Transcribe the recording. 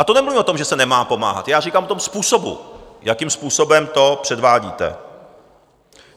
A to nemluvím o tom, že se nemá pomáhat - já říkám o tom způsobu, jakým způsobem to předvádíte.